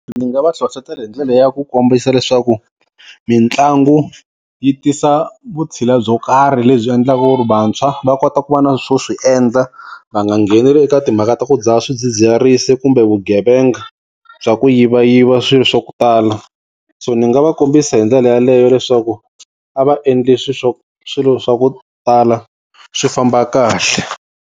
Ndzi nga va hlohlotela hi ndlela ya ku kombisa leswaku mitlangu yi tisa vutshila byo karhi lebyi endlaka ku ri vantshwa va kota ku va na swo swi endla va nga ngheneleli eka timhaka ta ku dzaha swidzidziharisi kumbe vugevenga bya ku yivayiva swilo swa ku tala so ni nga va kombisa hi ndlela yaleyo leswaku a va endli swi swa swilo swa ku tala swi famba kahle.